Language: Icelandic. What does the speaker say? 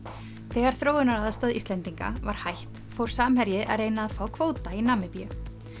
þegar þróunaraðstoð Íslendinga var hætt fór Samherji að reyna að fá kvóta í Namibíu